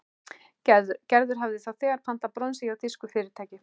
Gerður hafði þá þegar pantað bronsið hjá þýsku fyrirtæki.